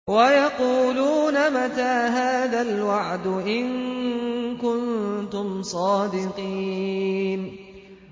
وَيَقُولُونَ مَتَىٰ هَٰذَا الْوَعْدُ إِن كُنتُمْ صَادِقِينَ